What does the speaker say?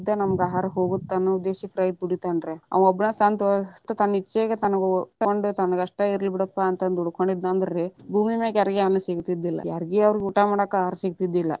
ನಮ್ಗ ಆಹಾರ ಹೋಗುತ್ತ ಅನ್ನುವ ಉದ್ದೇಶಕ್ಕ ರೈತ ದುಡಿತಾನ ರೀ ಆವಾ ಒಬ್ಬನ ಸ್ವಂತ ತನ್ನ ಇಚ್ಛೆಗ ತನಗಷ್ಟ ಇರ್ಲಿ ಬಿಡಪ್ಪಾ ಅಂತ ದುಡುಕೊಂಡಿದ್ರರೀ ಭೂಮಿ ಮ್ಯಾಗ ಯಾರಿಗೇ ಅನ್ನಾ ಸಿಗತಿದ್ದಿಲ್ಲಾ ಯಾರಿಗೆ ಅವ್ರ ಊಟಾ ಮಾಡಾಕ ಆಹಾರ ಸಿಗ್ತಿರ್ಲಿಲ್ಲಾ.